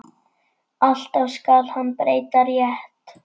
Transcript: Alltaf skal hann breyta rétt.